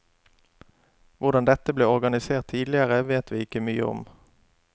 Hvordan dette ble organisert tidligere, vet vi ikke mye om.